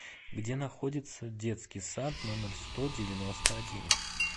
где находится детский сад номер сто девяносто один